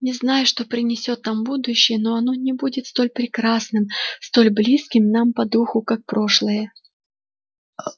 не знаю что принесёт нам будущее но оно не будет столь прекрасным столь близким нам по духу как прошлое